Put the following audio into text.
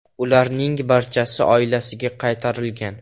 Ularning barchasi oilasiga qaytarilgan.